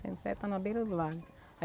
Centro-Sé está na beira do lago.